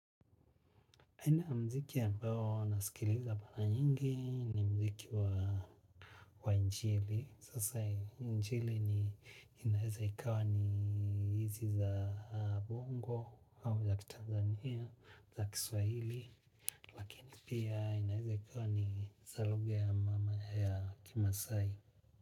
Aina muziki ambayo nasikiliza mara nyingi ni muziki wa injili, sasa injili inaweza ikawa ni hizi za Bongo au za Tanzania za Kiswahili, lakini pia inaweza ikawa ni za lugha ya mama ya Kimaasai.